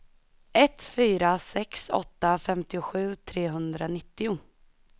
ett fyra sex åtta femtiosju trehundranittio